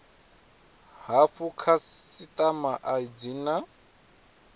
hafhu khasitama a dzi na